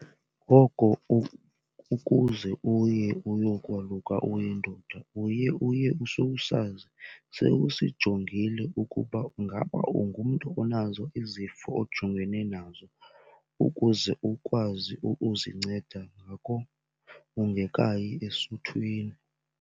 Ngoko ukuze uye uyokwaluka uyindoda uye uye usowusazi sewusijongile ukuba ungaba ungumntu onazo izifo ojongene nazo ukuze ukwazi ukuzinceda ngako ungekayi esuthwini.